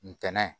Ntɛnɛn